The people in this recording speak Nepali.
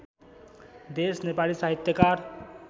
देश नेपाली साहित्यकार